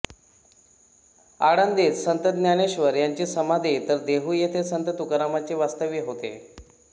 आळंदीत संत ज्ञानेश्वर यांची समाधी तर देहू येथे संत तुकारामांचे वास्तव्य होते